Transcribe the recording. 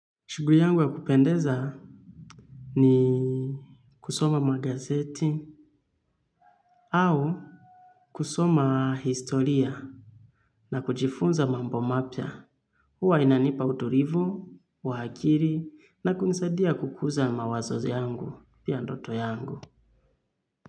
Shughuli yangu ya kupendeza ni kusoma magazeti au kusoma historia na kujifunza mambo mapya. Huwa inanipa utulivu, wa akili na kunisaidia kukuza mawazo yangu, pia ndoto yangu.